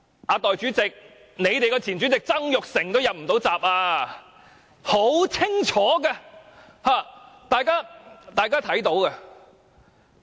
代理主席，即使你們的前主席曾鈺成都"入不到閘"，這是很清楚的，而大家也看得到。